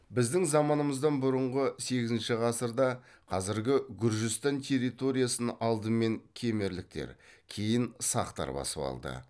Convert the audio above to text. біздің заманымыздан бұрынғы сегізінші ғасырда қазіргі гүржістан территориясын алдымен кемерліктер кейін сақтар басып алды